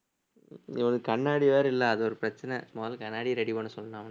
இவனுக்கு கண்ணாடி வேற இல்லை அது ஒரு பிரச்சனை மொதல்ல கண்ணாடிய ready பண்ண சொல்லணும் அவனை